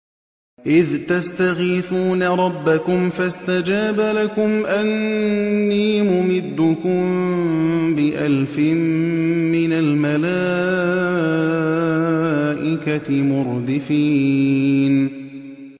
إِذْ تَسْتَغِيثُونَ رَبَّكُمْ فَاسْتَجَابَ لَكُمْ أَنِّي مُمِدُّكُم بِأَلْفٍ مِّنَ الْمَلَائِكَةِ مُرْدِفِينَ